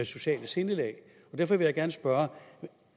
sociale sindelag derfor vil jeg gerne spørge